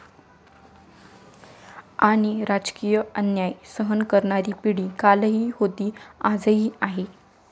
आणि राजकीय अन्याय सहन करणारी पिढी कालही होती आजही आहे.